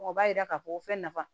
O b'a yira k'a fɔ ko fɛn nafa